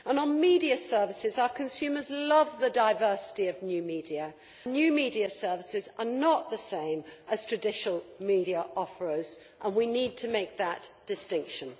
And on media services, our consumers love the diversity of new media new media services are not the same as traditional media offers and we need to make that distinction.